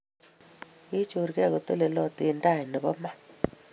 Kinyorkei kotelelot eng tai nebo Ma